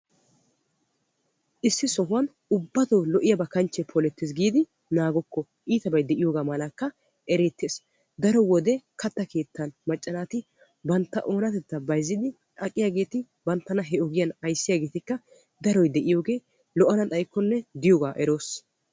Issi sohuwan ubbatoo lo"iyaaba kanchchee poleettees giidi naagokko. Iitabay de"iyoogaa malakka ereettees. Daro wode katta keettan macca naati bantta oonatettaa bayzzidi aqiyaageeti banttana he ogiyaan ayssiyaageetikka daroy de"iyoogee lo"ana xayikkonne diyoogaa eroos.